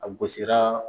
A gosira